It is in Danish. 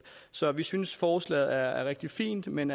så vi synes forslaget er rigtig fint men